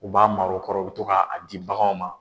U b'a mar'aw kɔrɔ u bɛ to k'a ji bagan ma.